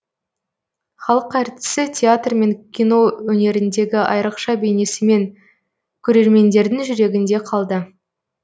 халық әртісі театр мен кино өнеріндегі айрықша бейнесімен көрермендердің жүрегінде қалды